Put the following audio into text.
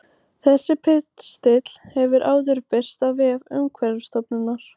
Þessi pistill hefur áður birst á vef Umhverfisstofnunar.